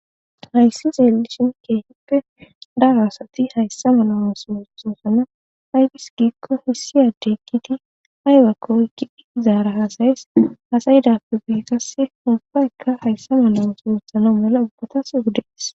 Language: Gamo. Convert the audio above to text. Hayssa xeellishin keehippe daro asati hayssa mela ooso oothosona. Aybis giikko issi addey eqqidi aybakko oyqqidi izaara haasayees. Haasayidappe guye qasse hayssa mela ooso oothana mela ubbatas odees.